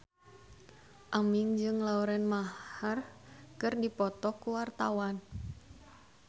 Aming jeung Lauren Maher keur dipoto ku wartawan